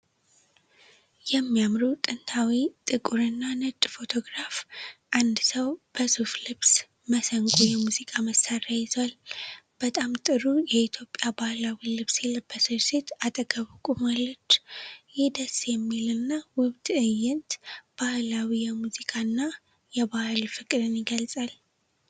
የሚያምሩ ጥንታዊ ጥቁርና ነጭ ፎቶግራፍ! አንድ ሰው በሱፍ ልብስ "መስንቆ" የሙዚቃ መሣሪያ ይዟል። በጣም ጥሩ የኢትዮጵያ ባህላዊ ልብስ የለበሰች ሴት አጠገቡ ቆማለች። ይህ ደስ የሚል እና ውብ ትዕይንት ባህላዊ የሙዚቃና የባህል ፍቅርን ይገልጻል።